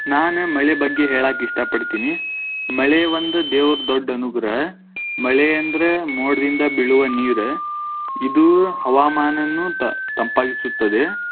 ನಾನ ಮಳೆ ಬಗ್ಗೆ ಹೇಳಾಕ್ ಇಷ್ಟ ಪಡ್ತೀನಿ, ಮಳೆ ಒಂದು ದೇವ್ರ ದೊಡ್ಡ ಅನುಗ್ರಹ, ಮಳೆ ಎಂದ್ರ ಮೋಡದಿಂದ ಬೀಳುವ ನೀರ, ಇದು ಹವಾಮಾನನ್ನು ತ~ ತಂಪಾಗಿಸುತ್ತದೆ.